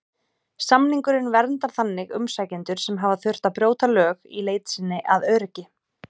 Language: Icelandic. Samningurinn verndar þannig umsækjendur sem hafa þurft að brjóta lög í leit sinni að öryggi.